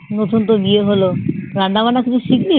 নতুন তো বিয়ে হলো রান্না বান্না কিছু শিখলি?